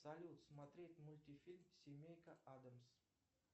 салют смотреть мультфильм семейка адамс